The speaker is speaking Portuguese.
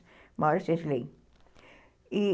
Uma hora vocês leem. E